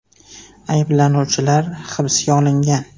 Ayblanuvchilar hibsga olingan.